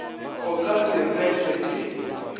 o ka se bethwe ke